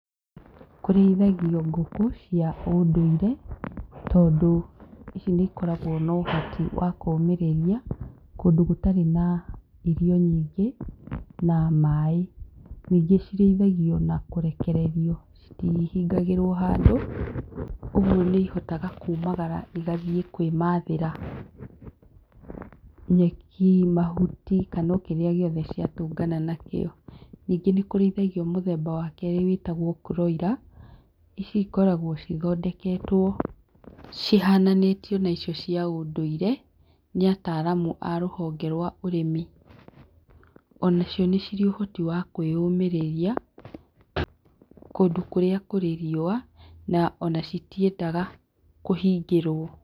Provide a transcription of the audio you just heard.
Kũrĩithagio ngũkũ cia ũndũire, tondũ ici nĩ ikoragwo na ũhoti wa kũmĩrĩria, kũndũ gũtarĩ na irio nyingĩ na maĩ. Nyingĩ cirĩithagio na kũrekererio citihangĩrwo handũ ũguo nĩ ihotaga kumagara na igathiĩ kwĩ mathĩra nyeki, mahuti, kana o kĩrĩa gĩothe ciatũngana nakĩo. Ningĩ nĩ kũrĩithagio mũthemba wa kerĩ wĩtagwo broiler ici cikoragwo cithondeketwo cihananĩtio na icio cia ũndũire nĩ ataraamu a rũhonge rwa ũrĩmi. Onacio nĩ cirĩ ũhoti wa kwĩyũmĩrĩria kũndũ kũrĩa kũrĩ riũa na ona citiendaga kũhingĩrwo.